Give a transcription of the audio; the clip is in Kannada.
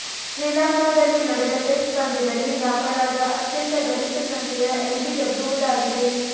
ಶ್ರೀಲಂಕಾದಲ್ಲಿ ನಡೆದ ಟೆಸ್ಟ್ ಪಂದ್ಯದಲ್ಲಿ ದಾಖಲಾದ ಅತ್ಯಂತ ಗರಿಷ್ಠ ಸಂಖ್ಯೆಯ ಎಲ್ಬಿಡಬ್ಲು ಇದಾಗಿದೆ